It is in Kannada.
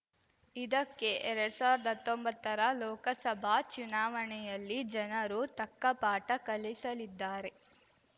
ಇದಕ್ಕೆ ಎರಡ್ ಸಾವ್ರ್ದ ಹತ್ತೊಂಬತ್ತರ ಲೋಕಸಭಾ ಚುನಾವಣೆಯಲ್ಲಿ ಜನರು ತಕ್ಕ ಪಾಠ ಕಲಿಸಲಿದ್ದಾರೆ